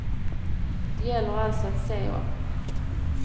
Det gäller alltså att se upp.